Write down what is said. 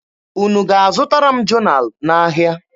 Unu ga-azụtara m jonalụ n'ahịa?